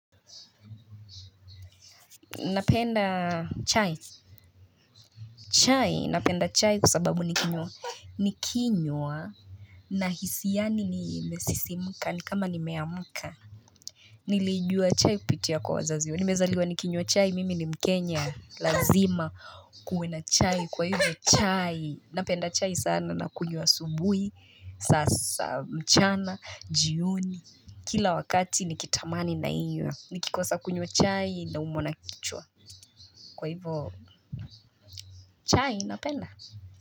Napenda chai chai napenda chai kwa sababu nikinywa na hisi yaani nimesisimuka nikama nimeamuka nilijua chai kupitia kwa wazazi nimezaliwa nikinywa chai mimi ni mkenya lazima kuwe na chai kwa hivyo chai napenda chai sana na kunywa asubuhi sasa mchana jioni kila wakati nikitamani nainywa nikikosa kunywa chai naumwa na kichwa kwa hivyo chai napenda.